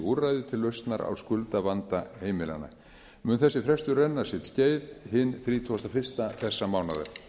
úrræði til lausnar á skuldavanda heimilanna mun þessi frestur renna sitt skeið hinn þrítugasta og fyrstu þessa mánaðar